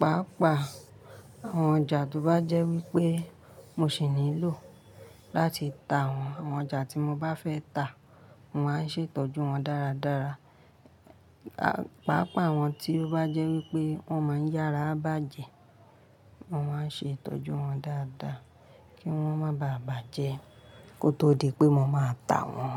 pàápàá àwọn ọjà tó bá jẹ́ wípé mo sì nílò láti ta wọ́n. Àwọn ọjà tí mo bá fẹ́ ta, mo máa ń ṣe ìtọ́jú wón dáradára. Pàápàá àwọn tí ó bá jẹ́ wípé wón máa ń yára bàjẹ́, mo máa ń ṣe ìtọ́jú wón dáadáa kí wón má bàa bàjẹ́ kó tó di pé mo máa ta wọ́n.